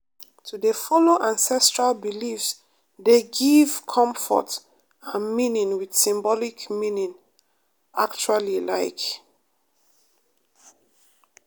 to dey follow ancestral beliefs dey give comfort and meaning with symbolic meaning actually like.